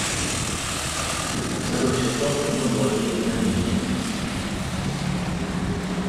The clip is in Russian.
второй сезон кино благие знамения